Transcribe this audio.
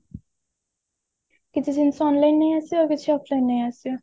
କିଛି ଜିନିଷ online ନେଇ ଆସିବା ଆଉ କିଛି offline ନେଇ ଆସିବା